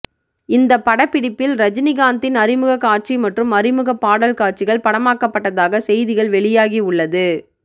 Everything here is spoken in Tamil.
இந்த படப்பிடிப்பில் ரஜினிகாந்தின் அறிமுக காட்சி மற்றும் அறிமுகப் பாடல் காட்சிகள் படமாக்கப்பட்டதாக செய்திகள் வெளியாகி உள்ளது